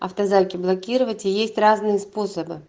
автозаки блокировать есть разные способы